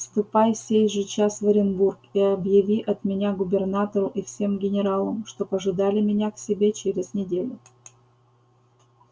ступай сей же час в оренбург и объяви от меня губернатору и всем генералам чтоб ожидали меня к себе через неделю